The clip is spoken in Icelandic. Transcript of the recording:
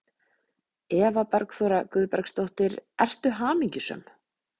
Eva Bergþóra Guðbergsdóttir: Ertu hamingjusöm?